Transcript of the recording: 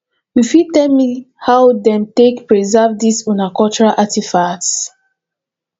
you fit tell me how them take preserve this una cultural artifacts